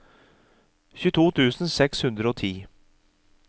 tjueto tusen seks hundre og ti